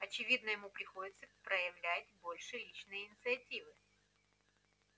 очевидно ему приходится проявлять больше личной инициативы